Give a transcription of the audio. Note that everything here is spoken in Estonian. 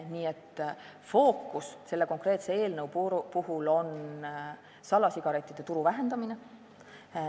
Nii et fookus selle konkreetse eelnõu puhul on salasigarettide turu vähendamine.